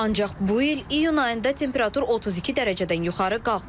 Ancaq bu il iyun ayında temperatur 32 dərəcədən yuxarı qalxmayıb.